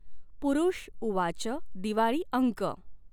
पुरुषउवाच दिवाळी अंक